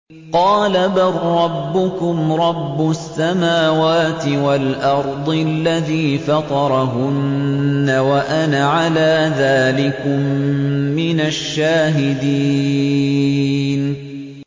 قَالَ بَل رَّبُّكُمْ رَبُّ السَّمَاوَاتِ وَالْأَرْضِ الَّذِي فَطَرَهُنَّ وَأَنَا عَلَىٰ ذَٰلِكُم مِّنَ الشَّاهِدِينَ